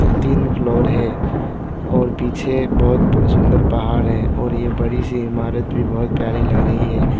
तीन फ्लोर है और पीछे एक बहोत सुंदर पहाड़ है और ये बड़ी सी इमारत भी बड़ी प्यारी लग रही है।